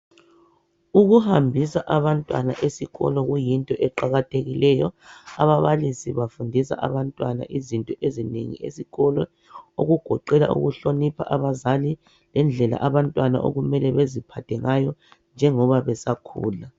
Ukuhambisa abantwana esikolo kuyinto eqakathekileyo. Ababalisi bafundisa abantwana izinto ezinengi esikolo, okugoqela ukuhlonipha abazali lendlela abantwana okumele baziphathe ngayo njengoba besakhula.